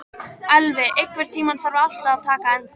Elvi, einhvern tímann þarf allt að taka enda.